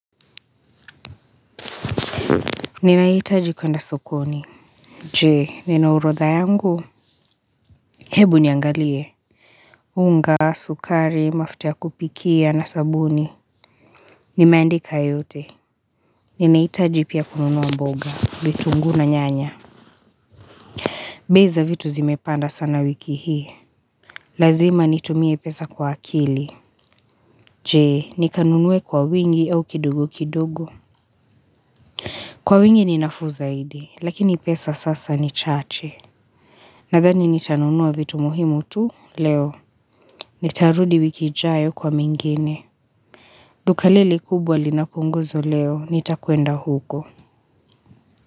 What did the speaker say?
Ninahitaji kwenda sokoni, Jee nina orodhaa yangu? Hebu niangalie unga, sukari, mafuta ya kupikia na sabuni Nimeandika yote Ninahitaji pia kununua mboga vitunguu na nyanya bei za vitu zimepanda sana wiki hii Lazima nitumie pesa kwa akili Jee nikanunue kwa wingi au kidogo kidogo? Kwa wingi ni nafuu zaido lakini pesa sasa nichache Nathani nitanunua vitu muhimu tu leo. Nitarudi wiki ijayo kwa mengine. Duka liliekubwa linapunguzwa leo. Nitakwenda huko.